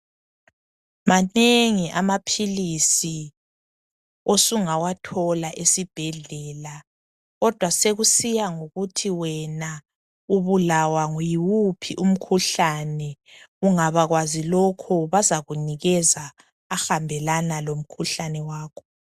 Manengi amaphilisi osungawathola esibhedlela kodwa sekusiya ngokuthi wena ubulawa yiwuphi umkhuhlane, ungabakwazi lokho bazakunikeza ahambelana lomkhuhlane wakho.